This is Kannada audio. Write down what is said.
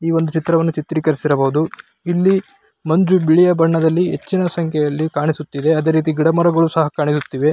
ಈ ವೊಂದು ಚಿತ್ರವನ್ನು ಚಿತ್ರೀಕರಿಸಿರಬಹುದು. ಇಲ್ಲಿ ಮಂಜು ಬಿಳಿಯ ಬಣ್ಣದಲ್ಲಿ ಹೆಚ್ಚಿನ ಸಂಖ್ಯೆಯಲ್ಲಿ ಕಾಣಿಸುತ್ತಿದೆ ಅದೇ ರೀತಿ ಗಿಡ ಮರಗಳು ಸಹಾ ಕಾಣಿಸುತ್ತಿವೆ.